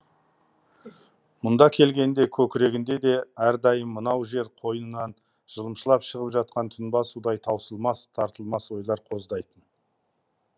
мұнда келгенде көкірегінде де әрдайым мынау жер қойнынан жылымшылап шығып жатқан тұнба судай таусылмас тартылмас ойлар қоздайтын